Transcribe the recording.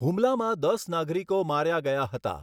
હુમલામાં દસ નાગરિકો માર્યા ગયા હતા.